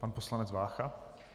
Pan poslanec Vácha.